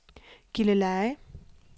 Gilleleje